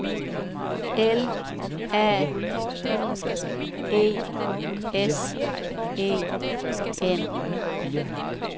L A U E S E N